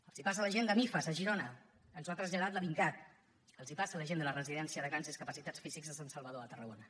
els passa a la gent de mifas a girona ens ho ha traslladat la dincat els passa a la gent de la residència de grans discapacitats físics sant salvador a tarragona